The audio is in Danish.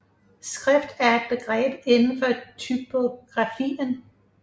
Skrift er et begreb inden for typografien